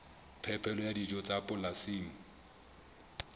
phepelo ya dijo tsa polasing